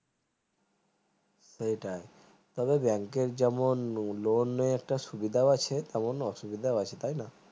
সেটাই তবে bank যেমন loan এর সুবিধা আছে তেমন অসুবিধা আছে তাই না